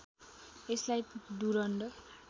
यसलाई डुरन्ड